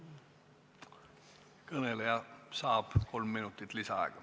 Kõneleja saab kolm minutit lisaaega.